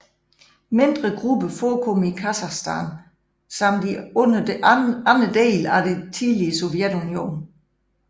Mindre grupper forekommer i Kazakstan samt i andre dele af det tidligere Sovjetunionen